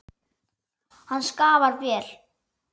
Hann skaffar vel.